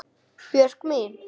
Björk mín.